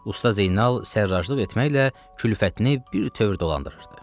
Usta Zeynal sərraclıq etməklə külfətini birtəhər dolandırırdı.